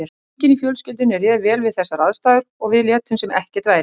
Enginn í fjölskyldunni réð vel við þessar aðstæður og við létum sem ekkert væri.